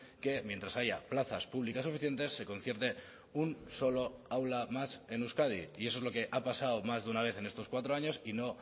que mientras haya plazas públicas suficientes se concierte un solo aula más en euskadi y eso es lo que ha pasado más de una vez en estos cuatro años y no